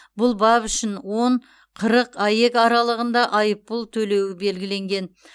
бұл бап үшін он қырық аек аралығында айыппұл төлеуі белгіленген